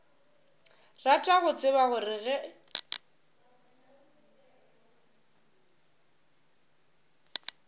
rata go tseba gore ge